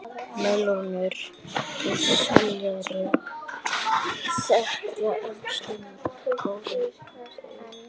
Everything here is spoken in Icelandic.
Melónur og sellerí þykja hömstrum góðir aukabitar.